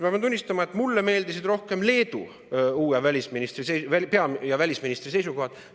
Ma pean tunnistama, et mulle meeldisid rohkem Leedu uue pea- ja välisministri seisukohad.